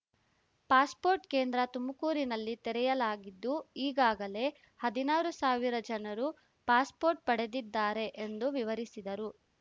passport ಕೇಂದ್ರ ತುಮಕೂರಿನಲ್ಲಿ ತೆರೆಯಲಾಗಿದ್ದು ಈಗಾಗಲೇ ಹದಿನಾರು ಸಾವಿರ ಜನರು ಪಾಸ್‍ಪೋರ್ಟ್ ಪಡೆದಿದ್ದಾರೆ ಎಂದು ವಿವರಿಸಿದರು